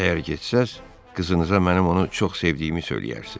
Əgər getsəz, qızınıza mənim onu çox sevdiyimi söyləyərsiz."